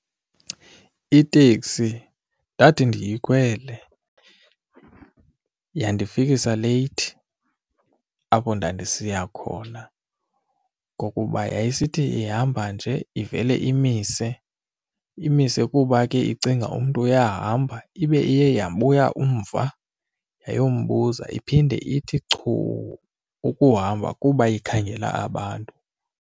Iteksi ndathi ndiyikhwele yandifikisa leyithi apho ndandisiya khona ngokuba yayisithi ihamba nje ivele imise, imise kuba ke icinga umntu uyahamba ibe iye yabuya umva umbuza iphinde ithi chuu ukuhamba kuba ikhangela abantu.